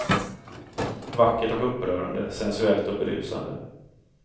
Vackert och upprörande, sensuellt och berusande.